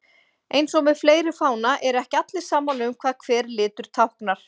En eins og með fleiri fána eru ekki allir sammála um hvað hver litur táknar.